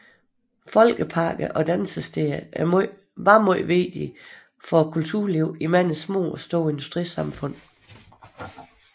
Folkeparker og dansesteder var meget vigtige for kulturlivet i mange små og store industrisamfund